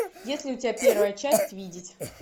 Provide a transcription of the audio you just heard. есть ли у тебя первая часть видеть